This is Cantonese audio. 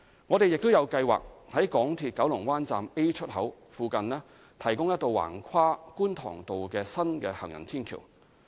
我們亦有計劃在港鐵九龍灣站 A 出口附近提供一道橫跨觀塘道的新行人天橋。